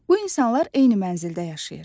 Bu insanlar eyni mənzildə yaşayır.